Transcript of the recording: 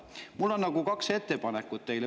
Mul on teile kaks ettepanekut.